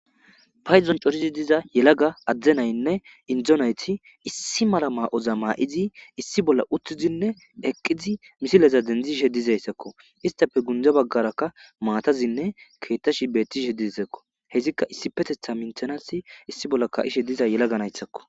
payizon corizi diza yelaga adde naynne indzo nayti issi mala ma7oza maa7izi issi bolla uttizinne eqqizi misileza dendzishe dizayssakko istafe gunda baggarakka maatazinne keettashi bettishe diisakko hesikka issi petetha minthanasi issi bolla kaishe diza yelaga nayssakko